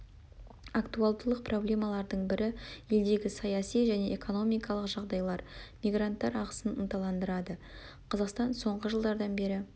актуалдылық проблемалардың бірі елдегі саяси және экономикалық жағдайлар мигранттар ағысын ынталандырады қазақстан соңғы жылдардан бері